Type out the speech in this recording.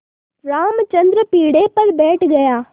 रामचंद्र पीढ़े पर बैठ गया